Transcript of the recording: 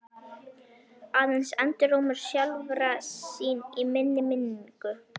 Aðeins endurómur sjálfra sín í minni minningu.